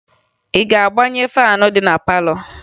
Ị ga-agbaghe faanụ dị na palọ?